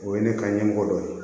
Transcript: O ye ne ka ɲɛmɔgɔ dɔ ye